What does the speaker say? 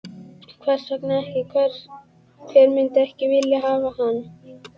Hvers vegna ekki, hver myndi ekki vilja hafa hann?